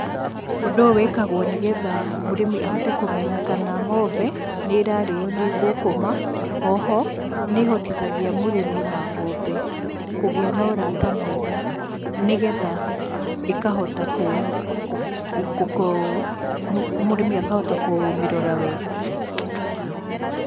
Ũndũ ũyũ wĩkagwo nĩgetha mũrĩmi ahote kũmenya kana ng'ombe nĩ ĩrarĩyo nĩ ngũngũma, o ho nĩhotithagia mũrĩmi na ng'ombe kũgĩa na ũrata mwega, nĩgetha ĩkahota, mũrĩmi akahota kũmĩrora wega.